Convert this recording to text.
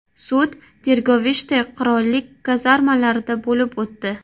Sud Tirgovishte qirollik kazarmalarida bo‘lib o‘tdi.